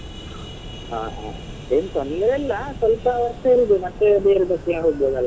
ಹಾ ಹಾ ಎಂತ ನೀವೆಲ್ಲಾ ಸ್ವಲ್ಪ ವರ್ಷ ಇರುದು ಮತ್ತೆ ಬೇರೆದಕ್ಕೆ ಹೋಗ್ಬೋದಲ್ಲ.